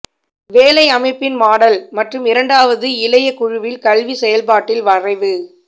வேலை அமைப்பின் மாடல் மற்றும் இரண்டாவது இளைய குழுவில் கல்விச் செயல்பாட்டின் வரைவு